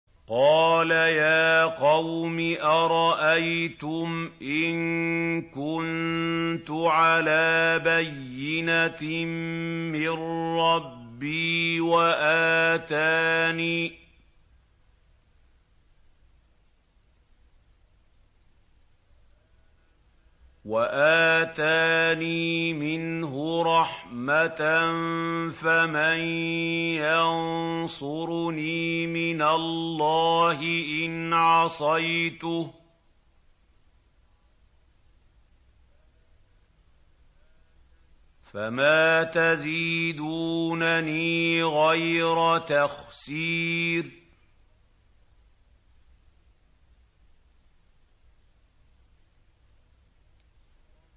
قَالَ يَا قَوْمِ أَرَأَيْتُمْ إِن كُنتُ عَلَىٰ بَيِّنَةٍ مِّن رَّبِّي وَآتَانِي مِنْهُ رَحْمَةً فَمَن يَنصُرُنِي مِنَ اللَّهِ إِنْ عَصَيْتُهُ ۖ فَمَا تَزِيدُونَنِي غَيْرَ تَخْسِيرٍ